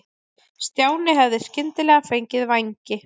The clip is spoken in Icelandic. Stjáni hefði skyndilega fengið vængi.